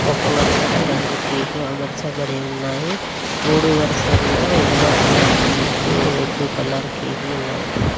ఒక వరుసలో రెండు కేకులు అమర్చబడి ఉన్నాయి. మూడు వరుసల్లో yellow colour cake red colour cake లు ఉన్నాయి.